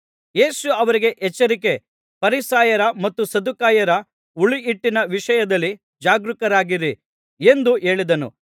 ಯೇಸು ಅವರಿಗೆ ಎಚ್ಚರಿಕೆ ಫರಿಸಾಯರ ಮತ್ತು ಸದ್ದುಕಾಯರ ಹುಳಿಹಿಟ್ಟಿನ ವಿಷಯದಲ್ಲಿ ಜಾಗರೂಕರಾಗಿರಿ ಎಂದು ಹೇಳಿದನು